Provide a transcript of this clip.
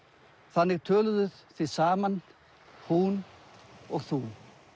þannig töluðuð þið saman hún og þú